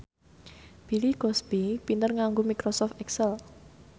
Bill Cosby pinter nganggo microsoft excel